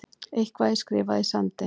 Eitthvað er skrifað í sandinn